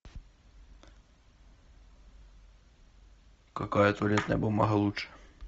какая туалетная бумага лучше